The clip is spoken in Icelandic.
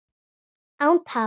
Án tafar!